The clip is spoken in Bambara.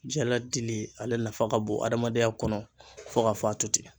Jala dili, ale nafa ka bon adamadenya kɔnɔ fo ka fɔ a toten.